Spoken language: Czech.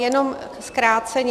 Jenom zkráceně.